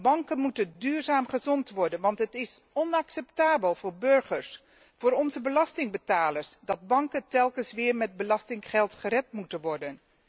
Banken moeten duurzaam gezond worden, want het is onacceptabel voor burgers, voor onze belastingbetalers, dat banken telkens weer met belastinggeld gered moeten worden.